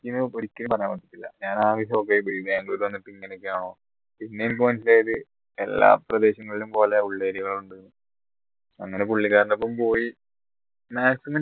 ഞാൻ ആകെ shock യി പോയി ബാംഗ്ലൂരിൽ വന്നിട്ട് ഇങ്ങനെയൊക്കെയാണോ പിന്നെ എനിക്ക് മനസ്സിലായത് എല്ലാ പ്രദേശങ്ങളിലും പോലെ ഉൾ area കൾ ഉണ്ട് അങ്ങനെ പുള്ളിക്കാരന്റെ ഒപ്പം പോയി maximum